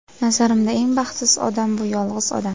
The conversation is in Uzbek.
Nazarimda eng baxtsiz odam bu yolg‘iz odam.